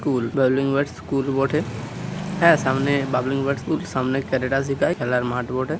School বাবলিং বাট school বটে | হা সামনে বাবলিং বাট স্কুল | সামনে কারাটি সেখাই খেলার মাঠ বটে।